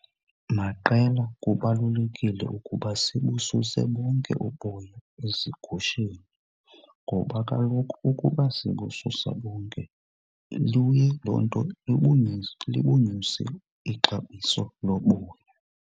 Maqela kubalulekile ukuba sibususe bonke uboya ezigusheni ngoba kaloku ukuba sibususa bonke luye loo nto libunyuse ixabiso loboya.